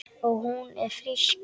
Og hún er frísk.